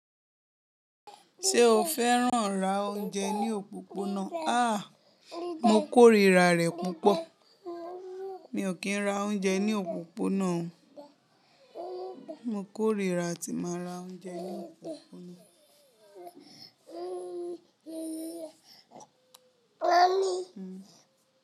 Ṣé o fẹ́ràn rá oúnjẹ ní òpópónà? Àá, mo kóríra rẹ̀ púpọ̀. Mi ò kí ń ra oúnjẹ ní òpópónà o. Mo kóríra tí n màá ra oúnjẹ ní òpópónà.